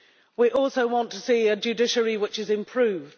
We also want to see a judiciary which is improved.